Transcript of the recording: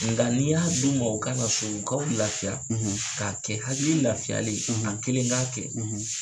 Nka n'i y'a d'u ma u kana so u ka u lafiya k'a kɛ hakili lafiyalen, a kelen k'a kɛ